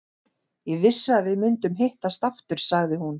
Ég vissi að við myndum hittast aftur, sagði hún.